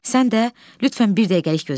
Sən də lütfən bir dəqiqəlik gözlə.